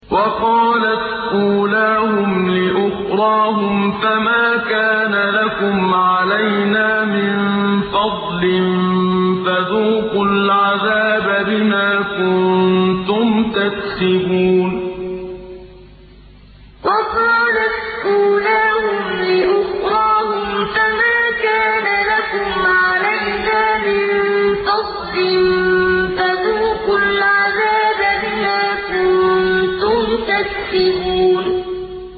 وَقَالَتْ أُولَاهُمْ لِأُخْرَاهُمْ فَمَا كَانَ لَكُمْ عَلَيْنَا مِن فَضْلٍ فَذُوقُوا الْعَذَابَ بِمَا كُنتُمْ تَكْسِبُونَ وَقَالَتْ أُولَاهُمْ لِأُخْرَاهُمْ فَمَا كَانَ لَكُمْ عَلَيْنَا مِن فَضْلٍ فَذُوقُوا الْعَذَابَ بِمَا كُنتُمْ تَكْسِبُونَ